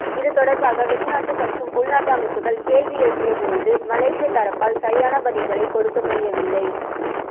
இது தொடர்பாக வெளிநாட்டு மற்றும் உள்நாட்டு அமைப்புக்கள் கேள்வி எழுப்பிய பொழுது மலேசிய தரப்பால் சரியான பதில்களைக் கொடுக்க முடியவில்லை